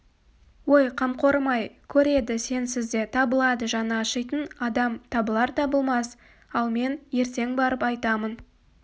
ой қамқорым-ай көреді сенсіз де табылады жаны ашитын адам табылар табылмас ал мен ертең барып айтамын